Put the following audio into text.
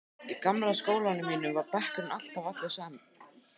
Í gamla skólanum mínum var bekkurinn alltaf allur saman.